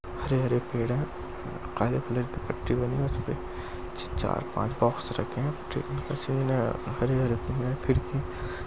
हरे हरे पेड़ है काले कलर की पट्टी बनी है उसपे चार पांच बॉक्स रखे है हरे हरे पेड़ है खिड़की --